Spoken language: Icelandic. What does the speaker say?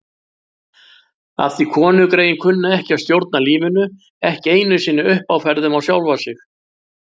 Af því konugreyin kunna ekki að stjórna lífinu, ekki einu sinni uppáferðum á sjálfar sig.